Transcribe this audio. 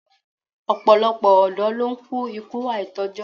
Ọ̀pọ̀lọpọ̀ ọ̀dọ́ ló ń kú ikú àìtójọ́